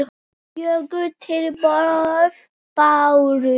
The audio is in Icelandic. Fjögur tilboð bárust.